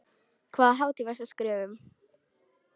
Hvaða hátíð varstu að skrifa um?